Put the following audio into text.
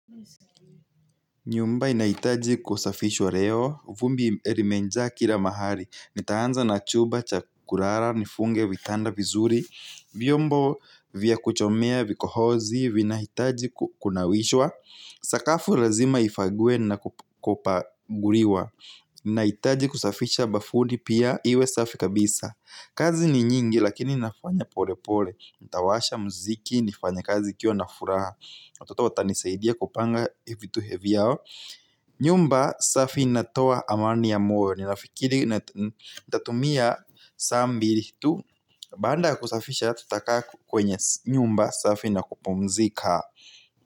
Nyumba inahitaji kusafishwa leo, vumbi imejaa kila mahali. Nitaanza na chumba cha kulala, nifunge vitanda vizuri, vyombo vya kuchomea vikohozi, vinahitaji kunawishwa. Sakafu lazima ifagwe na kupaguriwa. Nahitaji kusafisha bafuni pia iwe safi kabisa. Kazi ni nyingi lakini nafanya pole pole. Nitawasha muziki, nifanye kazi nikiwa na furaha. Watoto watanisaidia kupanga vitu vyao. Nyumba safi natoa amani ya moyo. Ninafikiri nitatumia saa mbili tu. Baada kusafisha tutaka kwenye nyumba safi na kupumzika.